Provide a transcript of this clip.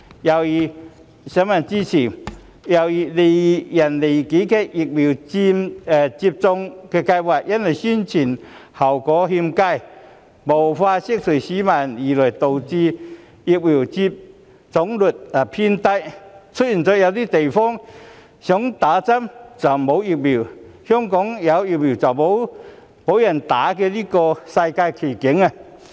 又如利人利己的疫苗接種計劃因為宣傳效果欠佳，無法釋除市民的疑慮，導致疫苗接種率偏低，出現了有些地方想接種卻沒有疫苗，香港有疫苗卻沒有人接種的世界奇景。